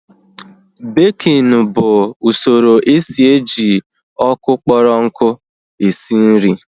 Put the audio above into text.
Békin bụ usoro esi eji ọkụ kpọrọ nku esi nri